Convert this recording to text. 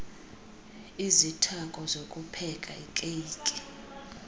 izithako zokupheka ikeyiki